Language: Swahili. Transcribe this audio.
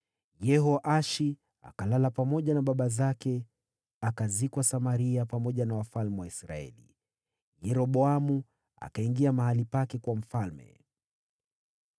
Yehoashi akalala pamoja na baba zake, akazikwa Samaria pamoja na wafalme wa Israeli. Yeroboamu akawa mfalme baada yake.